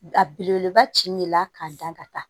A belebeleba ci min la k'a dan ka taa